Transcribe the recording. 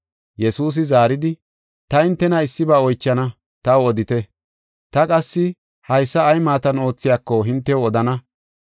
Yesuusi zaaridi, “Ta hintena issiba oychana, taw odite. Ta qassi haysa ay maatan oothiyako, hintew odana.